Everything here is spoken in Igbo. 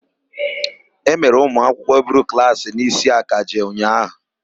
E mere ụmụakwụkwọ buru klaasị n'isi akaje ụnyaahụ.